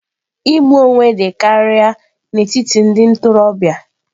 Igbu onwe dị karịa n'etiti ndị ntorobịa.